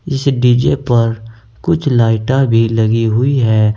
इस डी_जे पर कुछ लाइटा भी लगी हुई हैं।